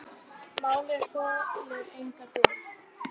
Málið þolir enga bið.